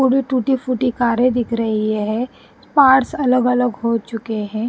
थोड़ी टूटी फूटी कारें दिख रही है पार्ट्स अलग अलग हो चुके हैं।